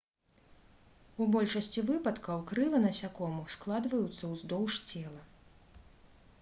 у большасці выпадкаў крылы насякомых складваюцца ўздоўж цела